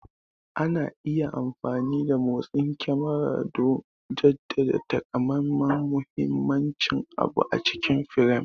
Ana iya amfani da motsin kyamarar don jaddada takamaiman muhimmanci abu a cikin firam.